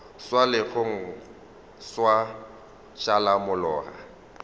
swa legong gwa šala molora